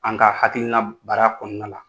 An ka hakilina baara kɔnɔna la